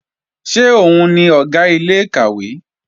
Ṣé òun ni Ọ̀gá ilé-ìkàwé?